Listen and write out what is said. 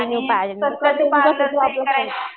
आणि